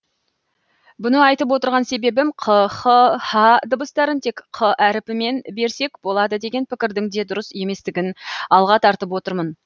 бұны айтып отырған себебім қ х һ дыбыстарын тек қ әріпімен берсек болады деген пікірдің де дұрыс еместігін алға тартып отырмын